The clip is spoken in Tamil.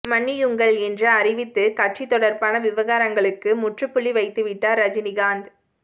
மன்னியுங்கள் என்று அறிவித்து கட்சி தொடர்பான விவகாரங்களுக்கு முற்றுப்புள்ளிவைத்துவிட்டார் ரஜினிகாந்த்